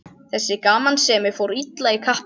Þessi gamansemi fór illa í kappann.